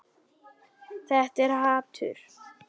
Þetta er hatur.